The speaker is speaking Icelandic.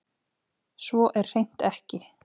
Svo er hreint ekki